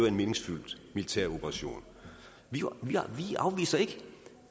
en meningsfyldt militæroperation vi afviser ikke